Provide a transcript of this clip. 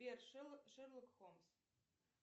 сбер шерлок холмс